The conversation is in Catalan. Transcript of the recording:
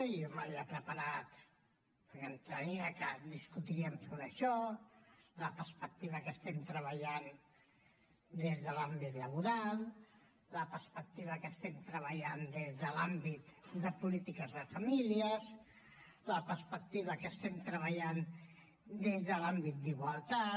i jo m’havia preparat perquè entenia que discutiríem sobre això la perspectiva que estem treballant des de l’àmbit laboral la perspectiva que estem treballant des de l’àmbit de polítiques de famílies la perspectiva que estem treballant des de l’àmbit d’igualtat